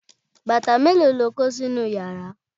bàtà mélòó lo kó sínú yàrá?